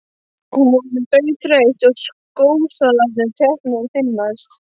Hún var orðin dauðþreytt og skósólarnir teknir að þynnast.